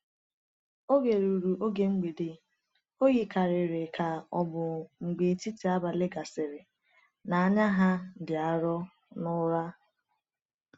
Oge ruru oge mgbede, o yikarịrị ka ọ bụ mgbe etiti abalị gasịrị, na “anya ha dị arọ” n’ụra.